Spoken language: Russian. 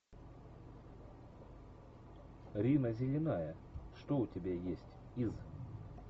рина зеленая что у тебя есть из